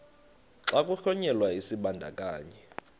xa kuhlonyelwa isibandakanyi